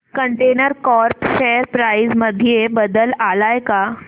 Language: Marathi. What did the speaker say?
कंटेनर कॉर्प शेअर प्राइस मध्ये बदल आलाय का